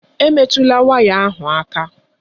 Emetụla waya ahụ aka!